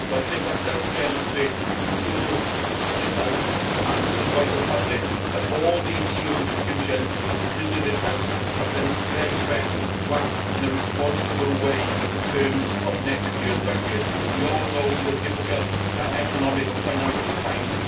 lower. So I think that does demonstrate to this House, and to the wider public, that all the EU institutions including this House have done their very best to act in a responsible way in terms of next year's budget. We all know that these are difficult economic and financial